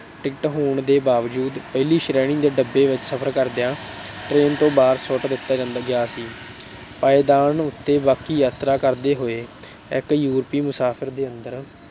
ticket ਹੋਣ ਦੇ ਬਾਵਜੂਦ ਪਹਿਲੀ ਸ਼੍ਰੇਣੀ ਦੇ ਡੱਬੇ ਵਿੱਚ ਸਫਰ ਕਰਦਿਆਂ train ਤੋਂ ਬਾਹਰ ਸੁੱਟ ਦਿੱਤਾ ਗਿਆ ਸੀ। ਪਾਏਦਾਨ ਉੱਤੇ ਬਾਕੀ ਯਾਤਰਾ ਕਰਦੇ ਹੋਏ ਇੱਕ ਯੂਰੋਪੀ ਮੁਸਾਫਰ ਦੇ ਅੰਦਰ